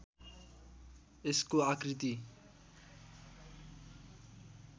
यसको आकृति